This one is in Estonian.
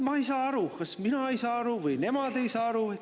Ma ei saa aru, kas mina ei saa aru või nemad ei saa aru.